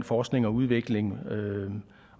forskning og udvikling